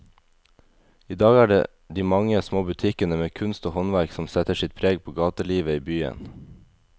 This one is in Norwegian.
I dag er det de mange små butikkene med kunst og håndverk som setter sitt preg på gatelivet i byen.